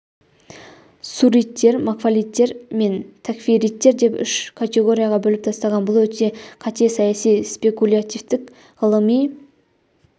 сууриттер макфалиттер мен тәкфириттер деп үш категорияға бөліп тастаған бұл өте қате саяси спекулятивтік ғылыми